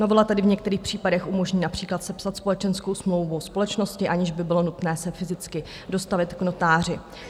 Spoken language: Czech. Novela tedy v některých případech umožní například sepsat společenskou smlouvu společnosti, aniž by bylo nutné se fyzicky dostavit k notáři.